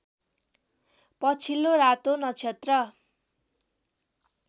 पछिल्लो रातो नक्षत्र